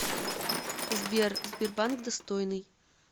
сбер сбербанк достойный